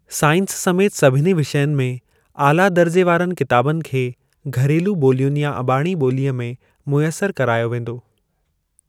Science समेति सभिनी विषयनि में आला दर्जे वारनि किताबनि खे घरेलू ॿोलियुनि या अबाणी ॿोलीअ में मुयसिर करायो वेंदो।